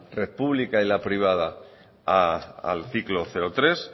pública y la privada al ciclo cero tres